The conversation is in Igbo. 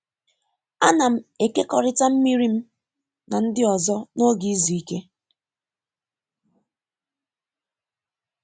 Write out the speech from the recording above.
A na'm ekekọrịta mmiri m na ndị ọzọ n’oge izu ike.